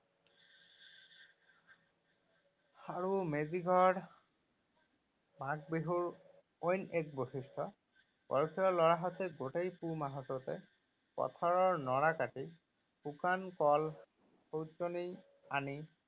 আৰু মেজিঘৰ মাঘ বিহুৰ অন্য এক বৈশিষ্ট। লৰাহঁতে গোটেই পুহ মাহটোতে পথাৰৰ নৰা কাটি শুকান কল আনি